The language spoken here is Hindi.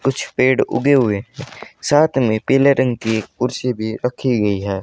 कुछ पेड़ उगे हुए साथ में पीले रंग की कुर्सी भी रखी गई है।